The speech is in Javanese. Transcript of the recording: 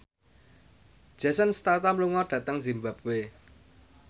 Jason Statham lunga dhateng zimbabwe